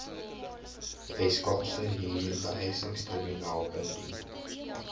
weskaapse huurbehuisingstribunaal indien